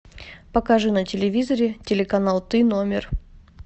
покажи на телевизоре телеканал ты номер